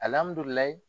Alihamudulila